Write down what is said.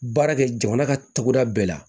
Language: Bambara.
Baara kɛ jamana ka togoda bɛɛ la